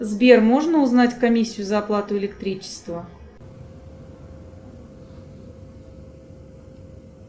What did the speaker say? сбер можно узнать комиссию за оплату электричества